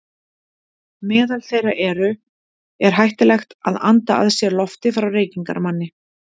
Meðal þeirra eru: Er hættulegt að anda að sér lofti frá reykingamanni?